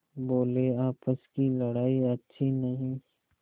बोलेआपस की लड़ाई अच्छी नहीं